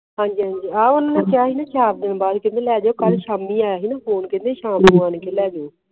ਹਨ ਜੀ ਹਨ ਜੀ ਉਨ੍ਹਾਂ ਨੇ ਕਿਹਾ ਸੀ ਨਾ ਚਾਰ ਦਿਨ ਬਾਅਦ ਲੈ ਜਿਓ ਕੱਲ ਸ਼ਾਮੀ ਆਇਆ ਸੀ ਨਾ ਫੋਨੇ ਕਿੱਤਾ ਸੀ ਕ ਸ਼ਾਮੀ ਆ ਕ ਲੈ ਜੋ